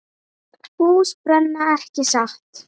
Hús brenna, ekki satt?